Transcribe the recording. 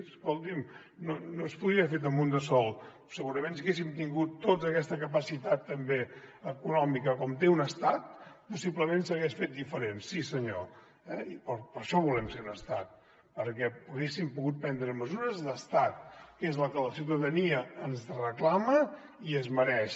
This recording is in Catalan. escolti’m no s’hauria pogut fer un de sol segurament si haguéssim tingut tota aquesta capacitat també econòmica com té un estat possiblement s’hagués fet diferent sí senyor eh i per això volem ser un estat perquè haguéssim pogut prendre mesures d’estat que és el que la ciuta dania ens reclama i es mereix